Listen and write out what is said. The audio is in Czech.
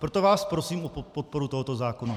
Proto vás prosím o podporu tohoto zákona.